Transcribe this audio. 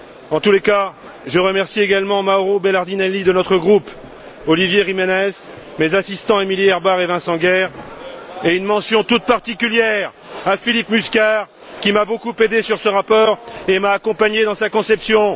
En tous les cas, je remercie également Mauro Belardinelli de notre groupe, Ollivier Gimenez, mes assistants, Emilie Herrbach et Vincent Guerre, et une mention toute particulière à Philippe Musquar, qui m'a beaucoup aidé sur ce rapport et m'a accompagné dans sa conception.